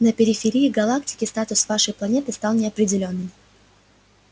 на периферии галактики статус вашей планеты стал неопределённым